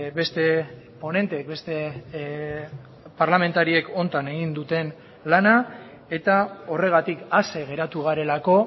beste ponenteek beste parlamentariek honetan egin duten lana eta horregatik ase geratu garelako